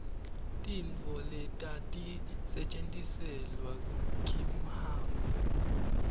tintfo letati setjentiselwa kimhamba